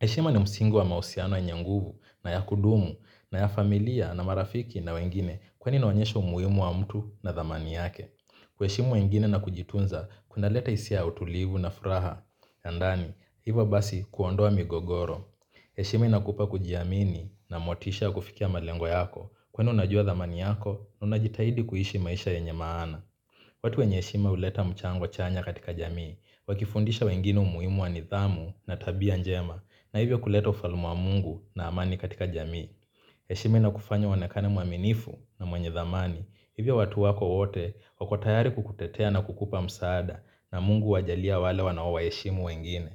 Heshima ni msingu wa mausiano yenye nguvu na ya kudumu na ya familia na marafiki na wengine kwani inaonyesha umuhimu wa mtu na dhamani yake. Kuheshimu wengine na kujitunza kunaleta hisia ya utulivu na furaha. Ya ndani, hivo basi kuondoa migogoro. Heshima inakupa kujiamini na motisha kufikia malengo yako kweni unajua dhamani yako na unajitahidi kuhishi maisha yenye maana. Watu wenye heshima uleta mchango chanya katika jamii, wakifundisha wengine umuhimu wa nidhamu na tabia njema. Na hivyo kuleta ufalme wa mungu na amani katika jamii. Heshima ina kufanya uonekane mwaminifu na mwenye dhamani. Hivyo watu wako wote wako tayari kukutetea na kukupa msaada. Na mungu huwajalia wale wanaoheshimu wengine.